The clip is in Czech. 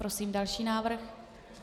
Prosím další návrh.